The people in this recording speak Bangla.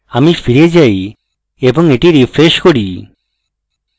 আমি ফিরে যাই এবং এটি refresh করি